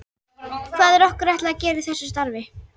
Hvað er okkur ætlað að gera í þessu starfi?